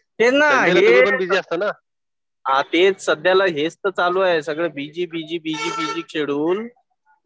तेच ना हे. हा तेच सध्याला हेच तर चालू आहे. सगळं बीजी बीजी बीजी शेडूल्ड.